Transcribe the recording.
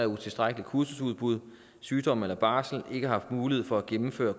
utilstrækkeligt kursusudbud sygdom eller barsel ikke har mulighed for at gennemføre